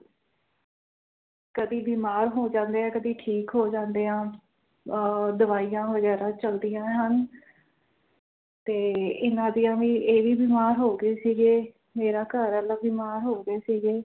ਕਦੇ ਬਿਮਾਰ ਹੋ ਜਾਂਦੇ ਹਾਂ ਕਦੇ ਠੀਕ ਹੋ ਜਾਂਦੇ ਹਾਂ ਆ ਦਵਾਈਆਂ ਵਗੈਰਾ ਚਲਦੀਆਂ ਹਨ ਤੇ ਇਹਨਾਂ ਦੀਆ ਵੀ ਇਹ ਵੀ ਬਿਮਾਰ ਹੋ ਗਏ ਸੀ ਗਏ ਮੇਰਾ ਘਰ ਆਲਾ ਵੀ ਬਿਮਾਰ ਹੋ ਗਏ ਸੀ ਗਏ